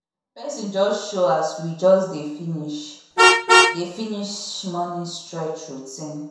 person just show as we just dey finish dey finish morning stretch routine